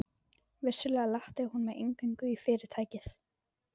Vissulega latti hún mig inngöngu í Fyrirtækið.